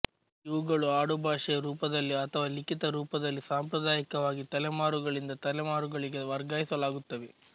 ಇವುಗಳು ಆಡುಭಾಷೆಯ ರೂಪದಲ್ಲಿ ಅಥವಾ ಲಿಖಿತ ರೂಪದಲ್ಲಿ ಸಾಂಪ್ರದಾಯಿಕವಾಗಿ ತಲೆಮಾರುಗಳಿಂದ ತಲೆಮಾರುಗಳಿಗೆ ವರ್ಗಾಯಿಸಲಾಗುತ್ತವೆ